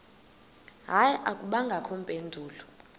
hayi akubangakho mpendulo